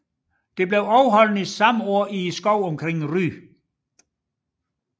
Det blev afholdt samme år i skovene omkring Ry